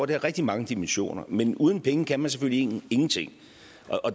det har rigtig mange dimensioner men uden penge kan man selvfølgelig ingenting